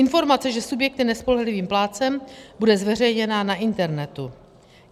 Informace, že subjekt je nespolehlivým plátcem, bude zveřejněna na internetu.